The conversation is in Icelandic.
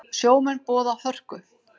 Sjómenn boða hörku